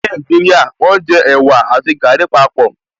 Ní Nàìjíríà, wọ́n jẹ ẹ̀wà àti gàrí papọ̀